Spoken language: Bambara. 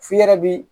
F'i yɛrɛ bi